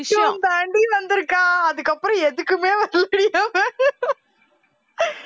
தாண்டி வந்திருக்கான் அதுக்கப்புறம் எதுக்குமே வரலைடி அவ